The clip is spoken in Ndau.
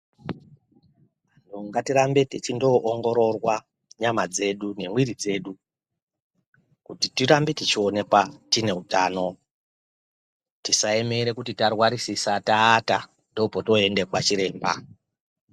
Ngatirambe techindoongororwa nyama dzedu nemwiri dzedu kuti tirambe techionekwa tine utano tisaemere kuti tarwarisisa taata ndopotoende kwachiremba.